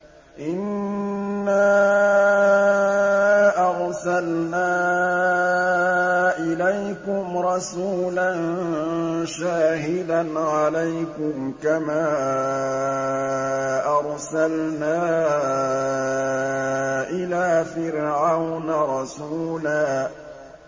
إِنَّا أَرْسَلْنَا إِلَيْكُمْ رَسُولًا شَاهِدًا عَلَيْكُمْ كَمَا أَرْسَلْنَا إِلَىٰ فِرْعَوْنَ رَسُولًا